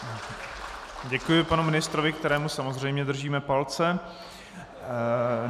Děkuji panu ministrovi, kterému samozřejmě držíme palce.